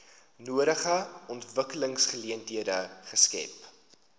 nodige ontwikkelingsgeleenthede skep